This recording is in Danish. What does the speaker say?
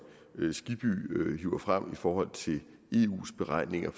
herre skibby hiver frem i forhold til eus beregninger